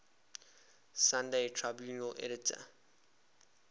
sunday tribune editor